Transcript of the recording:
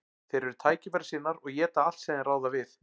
Þeir eru tækifærissinnar og éta allt sem þeir ráða við.